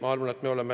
Ei!